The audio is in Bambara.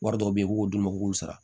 Wari dɔw bɛ ye u b'o d'u ma u k'u sara